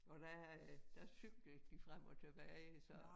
Og der øh der cyklede de frem og tilbage så